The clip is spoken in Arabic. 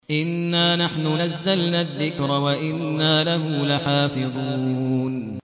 إِنَّا نَحْنُ نَزَّلْنَا الذِّكْرَ وَإِنَّا لَهُ لَحَافِظُونَ